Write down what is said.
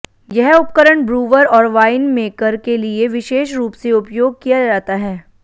यह उपकरण ब्रूवर और वाइनमेकर के लिए विशेष रूप से उपयोग किया जाता है